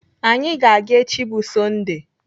Anyị ga-aga echi bụ Sọndee.